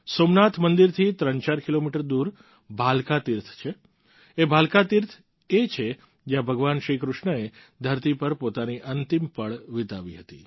સોમનાથ મંદિરથી 34 કિલોમીટર દૂર ભાલકા તીર્થ છે એ ભાલકા તીર્થ એ છે જ્યાં ભગવાન શ્રી કૃષ્ણ એ ધરતી પર પોતાની અંતિમ પળ વિતાવી હતી